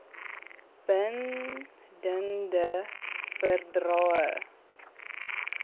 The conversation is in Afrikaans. bin dende verdrae